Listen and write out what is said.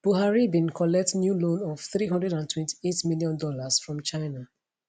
buhari bin collect new loan of 328 million dollars from china